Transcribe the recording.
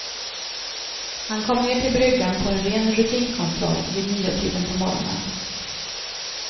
Han kom ner till bryggan på en ren rutinkontroll, vid niotiden på morgonen.